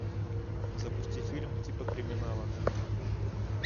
запусти фильм типа криминала